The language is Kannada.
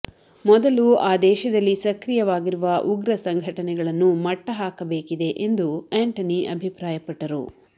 ಮೊದಲು ಆ ದೇಶದಲ್ಲಿ ಸಕ್ರಿಯವಾಗಿರುವ ಉಗ್ರ ಸಂಘಟನೆಗಳನ್ನು ಮಟ್ಟಹಾಕಬೇಕಿದೆ ಎಂದು ಎಂಟನಿ ಅಭಿಪ್ರಾಯಪಟ್ಟರು